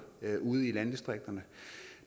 ude i landdistrikterne